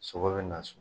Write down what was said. Sogo bɛ na so